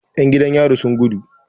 Yan jidan yari sun gudu.